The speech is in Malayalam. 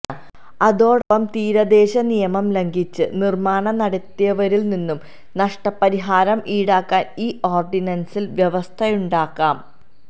അതോടൊപ്പം തീരദേശ നിയമം ലംഘിച്ച് നിര്മാണം നടത്തിയവരില്നിന്ന് നഷ്ടപരിഹാരം ഈടാക്കാന് ഈ ഓര്ഡിനന്സില് വ്യവസ്ഥയുണ്ടാക്കാം